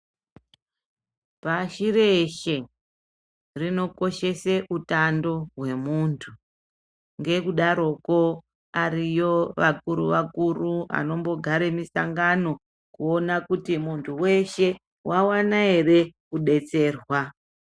Pashi reshe, rinokishese hutando hwemuntu, ngekudaroko, ariyo vakuru vakuru vanombogare misangano, kuona kuti muntu weshe wawana here kudetserwa.